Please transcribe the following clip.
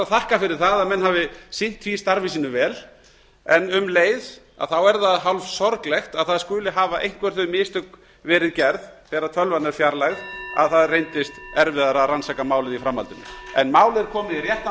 þakka fyrir það að menn hafi sinnt því starfi sínu vel en um leið er það hálfsorglegt að það skuli hafa einhver þau mistök verið gerð þegar tölvan er fjarlægð að það reyndist erfiðara að rannsaka málið í framhaldinu en málið er komið í réttan